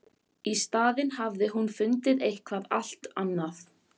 Í staðinn hafði hún fundið eitthvað allt annað.